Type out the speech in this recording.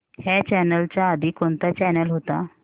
ह्या चॅनल च्या आधी कोणता चॅनल होता